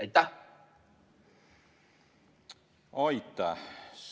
Aitäh!